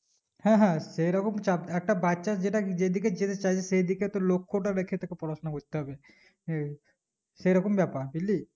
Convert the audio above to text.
হ্যাঁ হ্যাঁ সেই চাপ একটা বাচ্চা যেটা যেদিকে যেতেচাইবে সেদিকে তোর লক্ষটা রেখে তোকে পড়াশোনা করতে হবে হে সেরকম ব্যাপার বুজলি